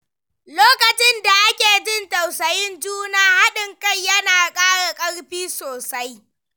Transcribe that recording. Lokacin da ake jin tausayin juna, haɗin kai yana ƙara ƙarfi sosai.